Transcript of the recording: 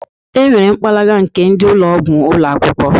E nwere mpakala nke ndị ụlọgwụ ụlọakwụkwụ.